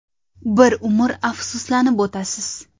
Bir umr afsuslanib o‘tasiz.